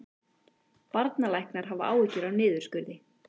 Barnalæknar hafa áhyggjur af niðurskurði